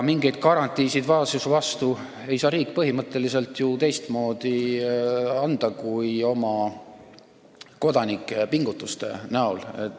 Mingeid garantiisid vaesuse vastu ei saa riik põhimõtteliselt ju teistmoodi anda, kui oma kodanike pingutustele tuginedes.